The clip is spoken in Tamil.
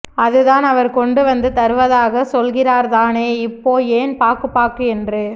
அதுதான் அவர் கொண்டுவந்து தருவதாக சொல்கிறார்தானே இப்போ ஏன் பாக்கு பாக்கு என்று